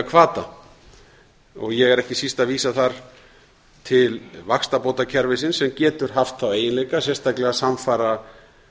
hvata ég er ekki síst að vísa þar til vaxtabótakerfisins sem getur haft þá eiginlega sérstaklega samfara